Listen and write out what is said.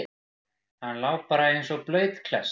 Hann lá bara og lá eins og blaut klessa.